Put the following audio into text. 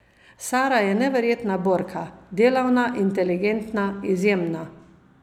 Sara je neverjetna borka, delavna, inteligentna, izjemna.